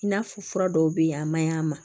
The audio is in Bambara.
I n'a fɔ fura dɔw bɛ yen a man ɲi a ma